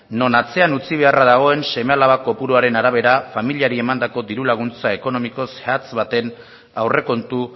non atzean utzi beharra dagoen seme alaba kopuruaren arabera familiari emandako diru laguntza ekonomiko zehatz baten aurrekontu